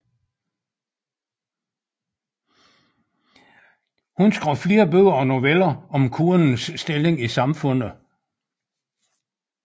Hun skrev flere bøger og noveller om kvindens stilling i samfundet